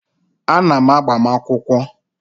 A na m agbamakwụkwọ